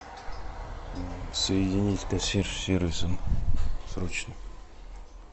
соедини с консьерж сервисом срочно